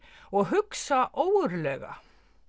og hugsa ógurlega